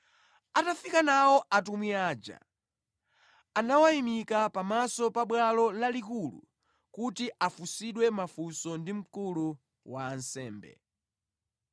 Atafika nawo atumwi aja, anawayimika pamaso pa Bwalo Lalikulu kuti afunsidwe mafunso ndi mkulu wa ansembe.